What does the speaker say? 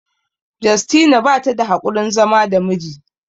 Justina bata da haƙurin zama da miji